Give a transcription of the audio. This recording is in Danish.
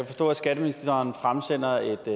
forstå at skatteministeren har fremsendt